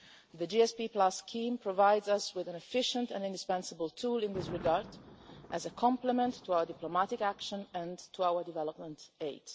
The GSP scheme provides us with an efficient and indispensable tool in this regard as a complement to our diplomatic action and to our development aid.